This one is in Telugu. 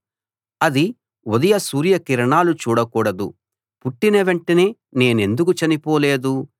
అది ఉదయ సూర్య కిరణాలు చూడకూడదు పుట్టిన వెంటనే నేనెందుకు చనిపోలేదు